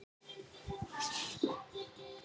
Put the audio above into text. Ég finn aldrei til þreytu eða sljóleika.